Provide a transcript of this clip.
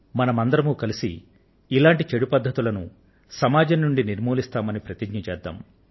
మనం అందరం కలిసి ఇటువంటి చెడు పద్ధతుల సమాజం నుండి నిర్మూలిస్తామని ప్రతిజ్ఞ చేద్దాం